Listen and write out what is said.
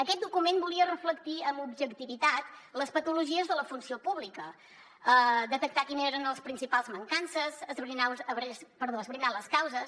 aquest document volia reflectir amb objectivitat les patologies de la funció pública detectar quines eren les principals mancances esbrinar ne les causes